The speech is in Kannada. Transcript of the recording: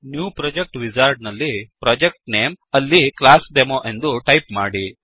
ನ್ಯೂ ಪ್ರೊಜೆಕ್ಟ್ ವಿಜಾರ್ಡ್ ನಲ್ಲಿ ಪ್ರೊಜೆಕ್ಟ್ ನೇಮ್ ಅಲ್ಲಿ ಕ್ಲಾಸ್ಡೆಮೊ ಎಂದು ಟೈಪ್ ಮಾಡಿ